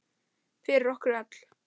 Fyrir okkur öll.